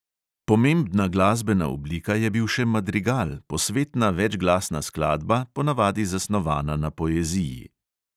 Pomembna glasbena oblika je bil še madrigal, posvetna večglasna skladba, ponavadi zasnovana na poeziji.